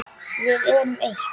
Við erum eitt.